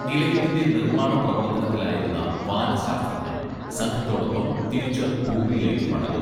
നിലയത്തിന്റെ നിർമാണ പ്രവർത്തനത്തിലായിരുന്ന വാനശാസ്ത്രജ്ഞൻ സംഘത്തോടൊപ്പം തിരിച്ച് ഭൂമിയിലേക്ക് മടങ്ങും